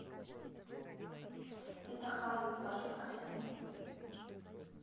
питахайю положи в корзину